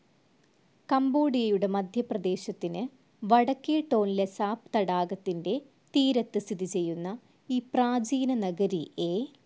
കംബോഡിയയുടെ മധ്യപ്രദേശത്തിന് വടക്കേ ടോൺലെസാപ് തടാകത്തിന്റെ തീരത്ത് സ്ഥിതിചെയ്യുന്ന ഈ പ്രാചീനനഗരി എ.